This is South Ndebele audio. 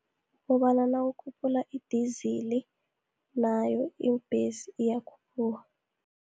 Kobana nawukhuphula idizili, nayo iimbhesi iyakhuphuka.